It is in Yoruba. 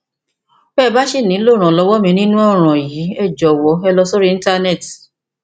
bí ẹ bá ṣì nílò ìrànlọwọ mi nínú ọràn yìí ẹ jọwọ lọ sórí íntánẹẹtì